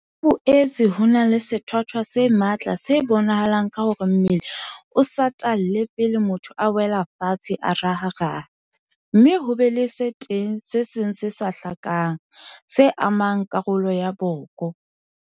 Ho boetse ho na le sethwathwa se matla se bonahalang ka hore mmele o satalle pele motho a wela fatshe a raharaha, mme ho be teng le se seng se sa hlakang, se amang karolo ya boko.